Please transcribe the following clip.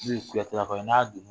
N'u ye kuyate lakaw ye n'a